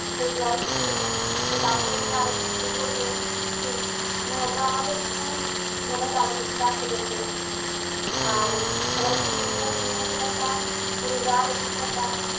সেই জল ছুলে সে তারপরে যে আরতি শুরু করবে ঠিক উম ওটা আমাদের ভীষণ মনে দাগ দাগ কেটেছে। আর সবাইকে মিলে নিয়ে যে একটা পুরী যাওয়ার অভিজ্ঞতা